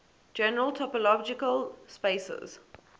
general topological spaces